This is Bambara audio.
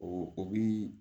O o bi